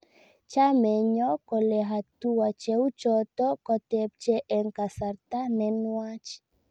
Chameenyo kole hatua cheuchoto kotepche eng kasarta ne nwach